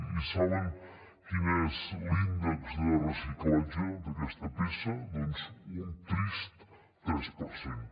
i saben quin és l’índex de reciclatge d’aquesta peça doncs un trist tres per cent